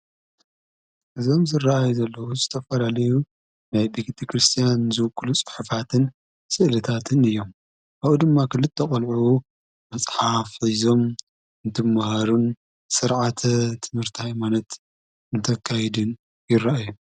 እዞም ዝረአዩ ዘለዉ ዝተፈላለዩ ናይ ቤተ ክርስቲያን ዝውክሉ ስሒፋትን ስእልታትን እዮም ኣኡ ድማ ኽልተ ቖልዑ መጽሓፍ ሒዞም እንትመሃሩን ሠርዓተ ትምርታ ይማነት እንተካይድን ይረአዩ።